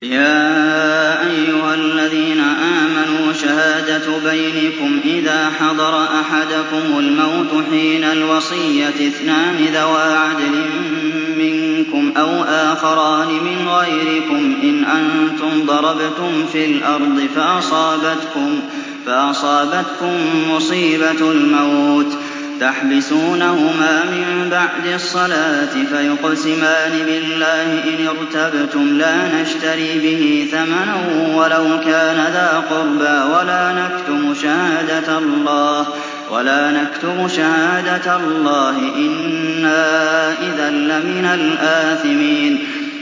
يَا أَيُّهَا الَّذِينَ آمَنُوا شَهَادَةُ بَيْنِكُمْ إِذَا حَضَرَ أَحَدَكُمُ الْمَوْتُ حِينَ الْوَصِيَّةِ اثْنَانِ ذَوَا عَدْلٍ مِّنكُمْ أَوْ آخَرَانِ مِنْ غَيْرِكُمْ إِنْ أَنتُمْ ضَرَبْتُمْ فِي الْأَرْضِ فَأَصَابَتْكُم مُّصِيبَةُ الْمَوْتِ ۚ تَحْبِسُونَهُمَا مِن بَعْدِ الصَّلَاةِ فَيُقْسِمَانِ بِاللَّهِ إِنِ ارْتَبْتُمْ لَا نَشْتَرِي بِهِ ثَمَنًا وَلَوْ كَانَ ذَا قُرْبَىٰ ۙ وَلَا نَكْتُمُ شَهَادَةَ اللَّهِ إِنَّا إِذًا لَّمِنَ الْآثِمِينَ